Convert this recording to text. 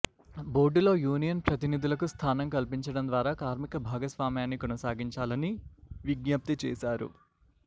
బోర్డులో యూనియన్ ప్రతినిధులకు స్థానం కల్పిండం ద్వారా కార్మిక భాగస్వామ్యాన్ని కొనసాగించాలని విజ్ఞప్తి చేశారు